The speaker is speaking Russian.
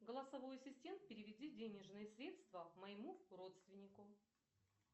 голосовой ассистент переведи денежные средства моему родственнику